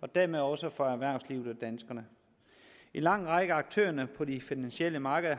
og dermed også for erhvervslivet og danskerne en lang række af aktørerne på de finansielle markeder